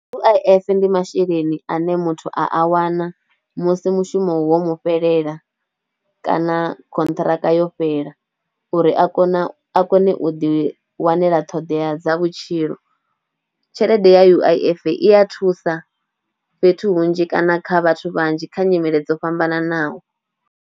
U_I_F ndi masheleni ane muthu a a wana musi mushumo wo mu fhelela kana khonthiraka yo fhela uri a kone, a kone u ḓi wanela ṱhoḓea dza vhutshilo. Tshelede ya U_I_F i ya thusa fhethu hunzhi kana kha vhathu vhanzhi kha nyimele dzo fhambananaho.